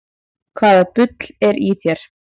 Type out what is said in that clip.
Hvaða bull er í þér?